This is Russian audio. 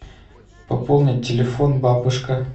пополнить телефон бабушка